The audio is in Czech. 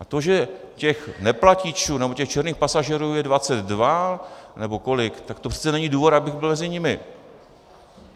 A to, že těch neplatičů nebo těch černých pasažérů je 22 nebo kolik, tak to přece není důvod, abych byl mezi nimi.